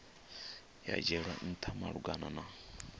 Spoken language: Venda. ya dzhielwa ntha malugana na